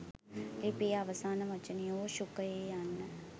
ලිපියේ අවසාන වචනය වූ ශුකයෙ යන්න